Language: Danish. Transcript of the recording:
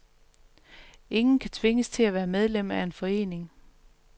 Ingen kan tvinges til at være medlem af en forening.